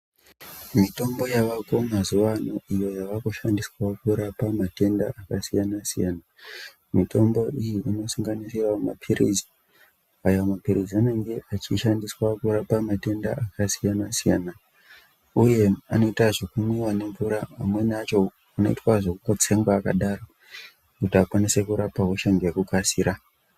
Mitombo yavako mazuwa ano iyo yavakushandiswa kurapa matenda akasiyana siyana .Mitombo iyi inosanganisira maphirizi, aya maphirizi anenge achishandiswa kurapa matenda akasiyana siyana uye anoita zvekumwiwa nemvura amweni acho anoita zvekungotsengwa akadaro kuti akwanise kurapa hosha ngekukasira.